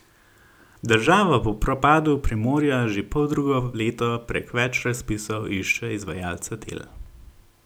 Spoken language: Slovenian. Država po propadu Primorja že poldrugo leto prek več razpisov išče izvajalca del.